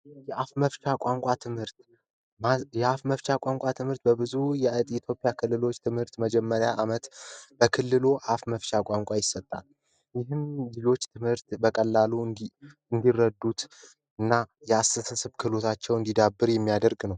የአፍ መፍቻ ቋንቋ ትምህርት፦ የአፍ መፍቻ ቋንቋ ትምህርት ብዙ የኢትዮጵያ ክልሎች ትምህርት መጀመሪያ ዓመት በክልሉ የአፍ መፍቻ ቋንቋ ትምህርት ይሰጣል። እንዲሁም ትምህርቶችን በቀላሉ እንዲረዱና የማሰብ ክህሎታቸው እንዲዳብር የሚያደርግ ነው።